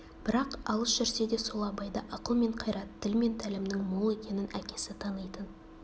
бірақ алыс жүрсе де сол абайда ақыл мен қайрат тіл мен тәлімнің мол екенін әкесі танитын